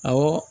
Awɔ